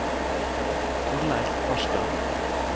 Torleiv Farstad